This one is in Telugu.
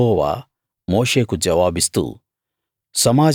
అప్పుడు యెహోవా మోషేకు జవాబిస్తూ